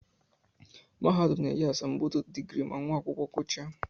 Mahadum na-enye asambodo digrii ma nwa akwụkwọ gụchaa